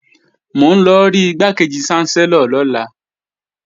Mò ń lọ rí Igbákejì ṣánsẹ́lọ̀ lọ́la